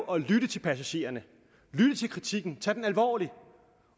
at lytte til passagererne at lytte til kritikken og tage den alvorligt